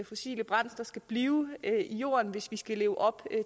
fossile brændsler skal blive i jorden hvis vi skal leve op